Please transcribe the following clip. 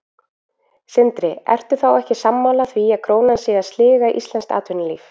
Sindri: Ertu þá ekki sammála því að krónan sé að sliga íslenskt atvinnulíf?